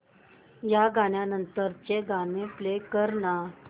या गाण्या नंतरचं गाणं प्ले कर ना